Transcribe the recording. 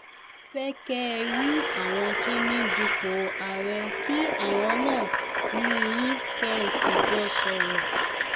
a fẹ́ kẹ́ ẹ rí àwọn tó ń dupò àárẹ̀ kí àwọn náà rí yín kẹ́ ẹ sì jọ sọ̀rọ̀